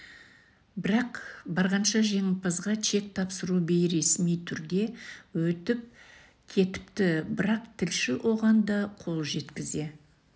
бірақ барғанша жеңімпазға чек тапсыру бейресми түрде өтіп кетіпті бірақ тілші оған да қол жеткізе